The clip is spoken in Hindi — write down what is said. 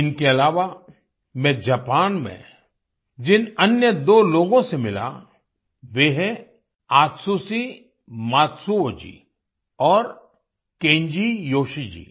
इनके अलावा मैं जापान में जिन अन्य दो लोगों से मिला वे हैं आत्सुशि मात्सुओ जी और केन्जी योशी जी